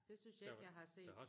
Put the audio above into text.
Det synes jeg ikke jeg har set